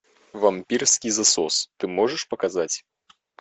вампирский засос ты можешь показать